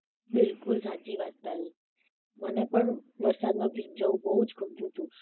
બિલકુલ સાચી વાત છે તારી મને પણ વરસાદ માં ભીંજાવું બોવ જ ગમતું હતું